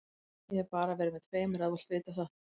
Ég hef bara verið með tveimur ef þú vilt vita það.